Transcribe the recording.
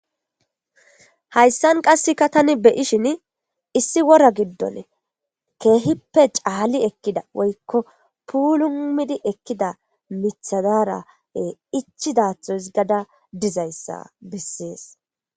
Hayssan qasseka tani beyishin issi wora giddon keehippe caali ekkida woykko puulumidi ekkida mithi dara ichidaatho hisgada dizayssa bessees.